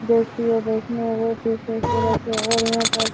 जो कि ये देखने में बहुत ही खूबसूरत शहर है और --